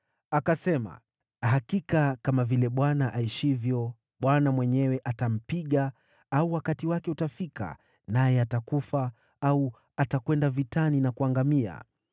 Daudi akasema, “Hakika kama vile Bwana aishivyo, Bwana mwenyewe atampiga; au wakati wake utafika, naye atakufa, au atakwenda vitani na kuangamia.